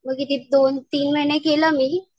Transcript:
मी किती दोन तीन महिने केलं मी.